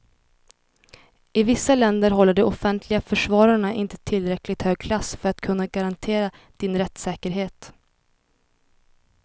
I vissa länder håller de offentliga försvararna inte tillräckligt hög klass för att kunna garantera din rättssäkerhet.